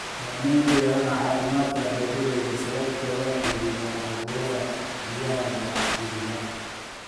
Saamayn ku yeelanaya caafimaadka beeralayda sababo la xidhiidha cudurrada biyaha la xidhiidha.